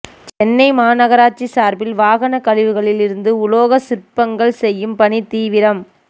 சென்னை மாநகராட்சி சார்பில் வாகன கழிவுகளில் இருந்து உலோகச் சிற்பங்கள் செய்யும் பணி தீவிரம்